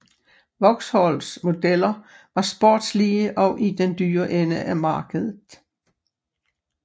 Vauxhalls modeller var sportslige og i den dyre ende af markedet